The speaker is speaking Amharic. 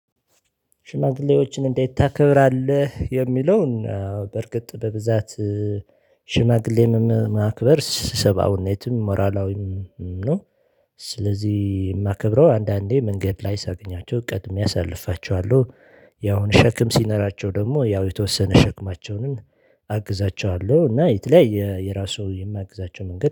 ሽማግሌዎችን እንዴት ታከብራለህ? የሚለውን በርግጥ በብዛት ሽማግሌምም ማክበር ሰባዊነትም ሞራላዊም ነው ስለዚህ የማከብረው አንዳንዴ መንገድ ላይ ሳገኛቸው ቀድሜ አሳልፋቸዋለሁ ያውን ሸክም ሲነራቸው ደግሞ ያው የተወሰነ ሸክማቸውን ሸክማቸውን አግዛቸዋለሁ እና የተለያየ የራሱ የማግዛቸው መንገድ